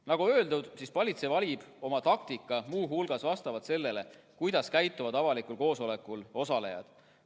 Nagu öeldud, politsei valib oma taktika muu hulgas vastavalt sellele, kuidas avalikul koosolekul osalejad käituvad.